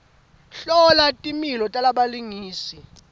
hlola timilo talabalingisi